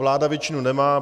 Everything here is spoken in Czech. Vláda většinu nemá.